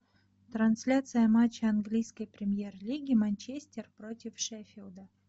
трансляция матча английской премьер лиги манчестер против шеффилда